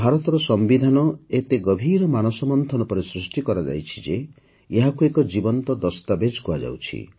ଭାରତର ସମ୍ବିଧାନ ଏତେ ଗଭୀର ମାନସ ମନ୍ଥନ ପରେ ସୃଷ୍ଟି କରାଯାଇଛି ଯେ ଏହାକୁ ଏକ ଜୀବନ୍ତ ଦସ୍ତାବିଜ କୁହାଯାଉଛି